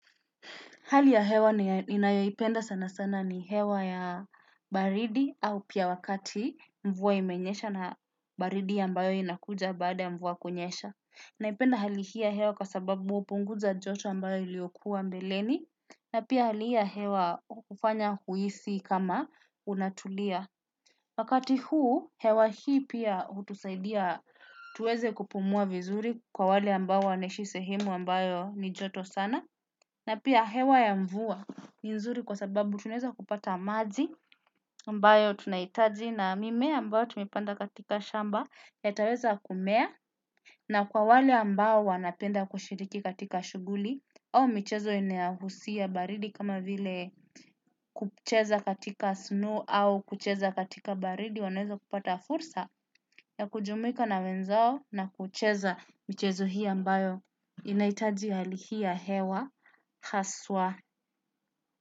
Hali ya hewa ninayoipenda sana sana ni hewa ya baridi au pia wakati mvuwa imenyesha na baridi ambayo inakuja baada ya mvuwa kunyesha. Naipenda hali hii ya hewa kwa sababu upunguza joto ambayo iliokuwa mbeleni na pia hali hii ya hewa ufanya huisi kama unatulia. Wakati huu, hewa hii pia hutusaidia tuweze kupumua vizuri kwa wale ambao wanaishi sehemu ambayo ni joto sana. Na pia hewa ya mvua ni nzuri kwa sababu tunaeza kupata maji ambayo tunaitaji na mimea ambayo tumepanda katika shamba yataweza kumea. Na kwa wale ambao wanapenda kushiriki katika shuguli au michezo inahusia baridi kama vile kucheza katika snow au kucheza katika baridi wanaeza kupata fursa ya kujumuika na wenzao na kucheza michezo hii ambayo inaitaji hali hii ya hewa haswa.